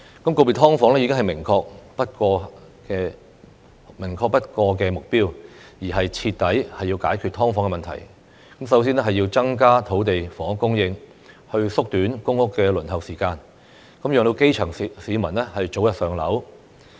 告別"劏房"已是明確不過的目標，要徹底解決"劏房"問題，首先便要增加土地房屋供應，縮短公屋輪候時間，讓基層市民早日"上樓"。